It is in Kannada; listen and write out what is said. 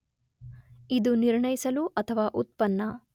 ಇದು ನಿರ್ಣಯಿಸಲು ಅಥವಾ ಉತ್ಪನ್ನ